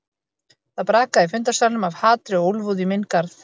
Það brakaði í fundarsalnum af hatri og úlfúð í minn garð.